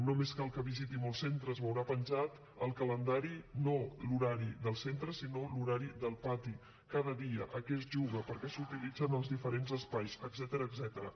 només cal que visiti molts centres hi veurà penjat al calendari no l’horari del centre sinó l’horari del pati cada dia a què es juga per a què s’utilitzen els diferents espais etcètera